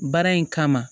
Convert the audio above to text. Baara in kama